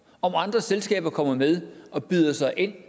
om andre selskaber kommer med og byder sig ind